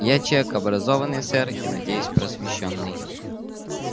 я человек образованный сэр и надеюсь просвещённый